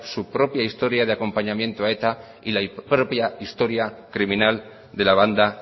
su propia historia de acompañamiento a eta y la propia historia criminal de la banda